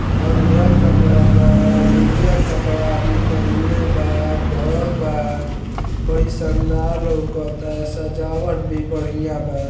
हरिअर कपडा बा उजर कपडा आदमी पहिनले बा घर बा बड़ी शानदार लोकता सजावल भी बढ़िया बा।